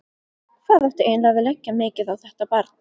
Hvað átti eiginlega að leggja mikið á þetta barn?